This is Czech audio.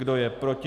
Kdo je proti?